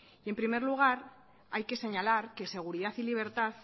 en primer lugar hay que señalar que seguridad y libertad